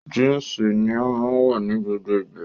Jínsì ni ó máa wọ̀ ní gbogbo ìgbà